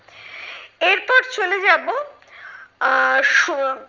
এরপর চলে যাবো আহ সু